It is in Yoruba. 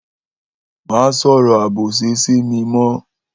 Mà sọrọ àbósi si mi mọ